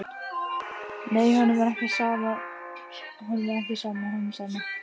Nei, honum er ekki sama honum Sæma.